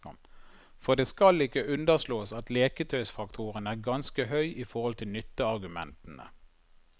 For det skal ikke underslås at leketøysfaktoren er ganske høy i forhold til nytteargumentene.